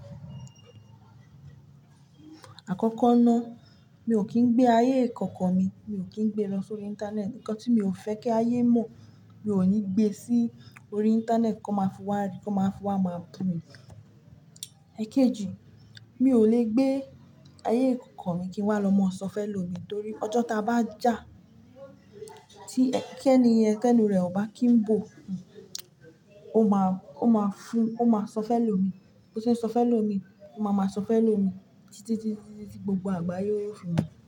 Àkọ́kọ́ ná, mi ò kín gbé ayé ìkọ̀kọ̀ mi, mi ò kín gbé lọ sórí internet. Ǹkan tí mi ò fẹ́ kí ayé mọ̀, mi ò ní gbé sí orí internet kí wọ́n máa fún wa rí, kí wọ́n máa fún wa máa bú mi. Èkejì, mi ò lè gbé ayé ìkọ̀kọ̀ mi kí wọ́n máa lọ sọ fẹ́ lo mi torí ọjọ́ tá bá jà tí ẹ́kẹ́ni yẹn tẹ́nu rẹ̀ ò bá kín bò, ó máa, ó máa fún, ó máa sọ fẹ́ lo mi. Bo ṣe ń sọ fẹ́ lo mi, ó máa máa sọ fẹ́ lo mi títí, títí, títí gbogbo àgbáyé ó fi mo.